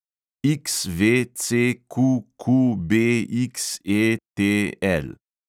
XVCQQBXETL